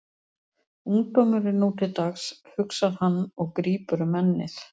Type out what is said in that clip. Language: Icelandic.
Ungdómurinn nú til dags, hugsar hann og grípur um ennið.